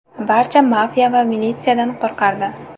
Barcha mafiya va militsiyadan qo‘rqardi.